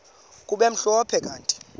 kube mhlophe kanti